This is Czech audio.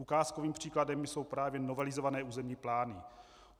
Ukázkovým příkladem jsou právě novelizované územní plány.